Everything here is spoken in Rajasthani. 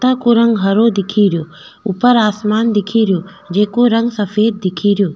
पता को रंग हरा दिखो रो ऊपर आसमान दिखे रिया जेको रंग सफ़ेद दिखो रो।